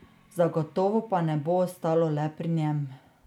Zagotovo pa ne bo ostalo le pri njem.